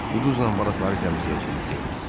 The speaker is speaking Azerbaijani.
Bu duzla balıqları təmizləyəcəyik, dedi.